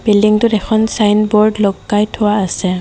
বিল্ডিংটোত এখন ছাইনবোৰ্ড লটকাই থোৱা আছে।